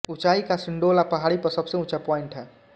ऊंचाई का सिंडोला पहाडी पर सबसे उंचा पॉइंट है